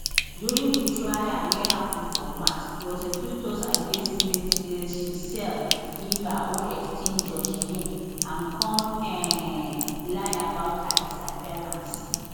during di trial wey happun for march prosecutors accuse smith say she sell deliver or exchange joshlin and come um lie about her disappearance